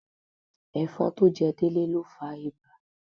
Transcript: Ẹ̀fọn tó jẹ Délé ló fa ibà.